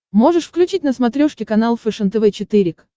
можешь включить на смотрешке канал фэшен тв четыре к